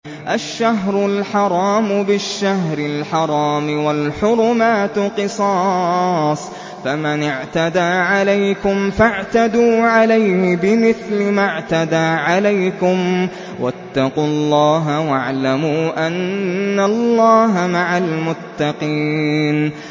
الشَّهْرُ الْحَرَامُ بِالشَّهْرِ الْحَرَامِ وَالْحُرُمَاتُ قِصَاصٌ ۚ فَمَنِ اعْتَدَىٰ عَلَيْكُمْ فَاعْتَدُوا عَلَيْهِ بِمِثْلِ مَا اعْتَدَىٰ عَلَيْكُمْ ۚ وَاتَّقُوا اللَّهَ وَاعْلَمُوا أَنَّ اللَّهَ مَعَ الْمُتَّقِينَ